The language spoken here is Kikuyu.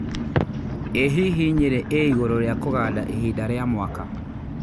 ĩ hihi Nyeri ĩ igũrũ ria kũganda ĩhinda rĩa mwaka